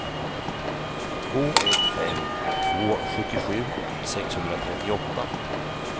två ett fem två sjuttiosju sexhundratrettioåtta